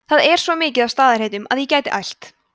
það er svo mikið af staðarheitum að ég gæti ælt